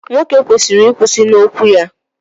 nwoke kwesịrị ịkwụsị n'okwu ya